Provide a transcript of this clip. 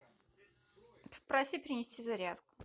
попроси принести зарядку